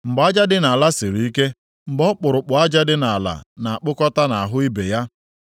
mgbe aja dị nʼala siri ike, mgbe ọkpụrụkpụ aja dị nʼala na-akpụkọta nʼahụ ibe ha?